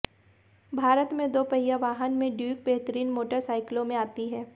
भारत में दोपहिया वाहन में ड्यूक बेहतरीन मोटरसाइकिलों में आती है